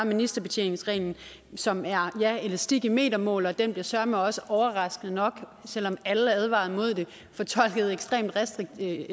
ministerbetjeningsreglen som er ja elastik i metermål og den bliver søreme også overraskende nok selv om alle advarer imod det fortolket ekstremt restriktivt